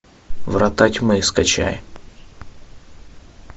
врата тьмы скачай